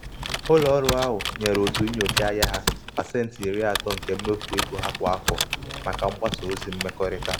ụlọ ọrụ ahụ nyere otu nyocha ahịa ya pasentị iri atọ nke mmefu ego ha kwa afọ maka mgbasa ozi na mgbasa ozi mmekọrịta.